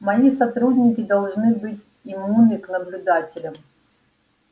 мои сотрудники должны быть иммунны к наблюдателям